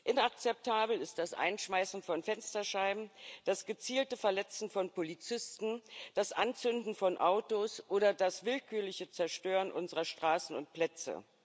Inakzeptabel ist das Einschmeißen von Fensterscheiben, das gezielte verletzen von Polizisten, das Anzünden von Autos oder das willkürliche Zerstören unserer Straßen und Plätze.